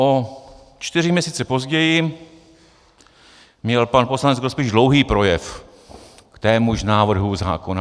O čtyři měsíce později měl pan poslanec Grospič dlouhý projev k témuž návrhu zákona.